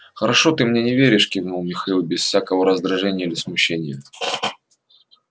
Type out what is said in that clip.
хорошо ты мне не веришь кивнул михаил без всякого раздражения или смущения